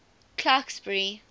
clarksburry